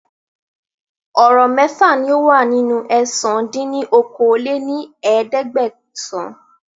Ọ̀rọ̀ mẹ́fà ni ó wà nínú ẹ̀sán dín ní okòó-lé-ní-ẹ̀ẹ́dẹ́gbẹ́sán